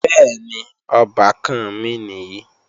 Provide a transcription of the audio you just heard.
Bẹ́ẹ̀ni, ọbàkan mi nìyí